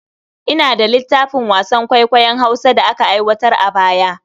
Ina da littafin wasan kwaikwayon Hausa da aka aiwatar a baya.